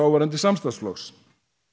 samstarfsflokksins